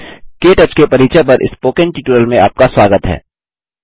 के टच के परिचय पर स्पोकन ट्यूटोरियल में आपका स्वागत है